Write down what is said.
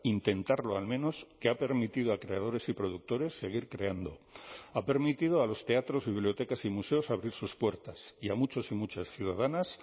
intentarlo al menos que ha permitido a creadores y productores seguir creando ha permitido a los teatros y bibliotecas y museos abrir sus puertas y a muchos y muchas ciudadanas